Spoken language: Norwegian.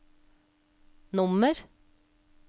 nummer